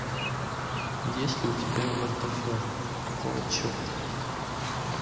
есть ли у тебя втф какого черта